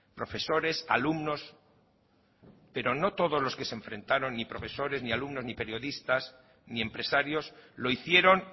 profesores alumnos pero no todos los que se enfrentaron ni profesores ni alumnos ni periodistas ni empresarios lo hicieron